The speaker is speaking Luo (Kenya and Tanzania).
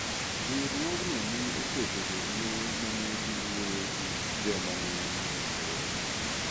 Riwruogno ne oketo jowuoyo manedhi wuoyo gi joma ne nie alworano.